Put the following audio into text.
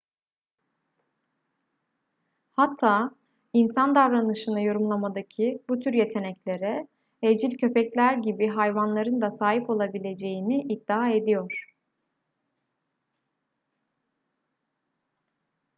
hatta insan davranışını yorumlamadaki bu tür yeteneklere evcil köpekler gibi hayvanların da sahip olabileceğini iddia ediyor